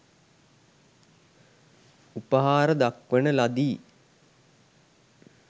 උපහාර දක්වන ලදී.